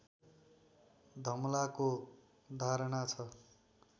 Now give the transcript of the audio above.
धमलाको धारणा छ